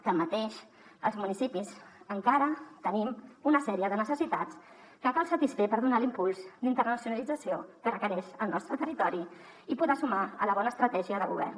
tanmateix els municipis encara tenim una sèrie de necessitats que cal satisfer per donar l’impuls d’internacionalització que requereix el nostre territori i poder sumar a la bona estratègia de govern